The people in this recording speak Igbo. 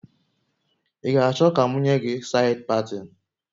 Ị ga achọ ka m nye gi said patin?